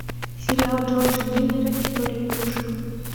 сериал джорджа миллера история игрушек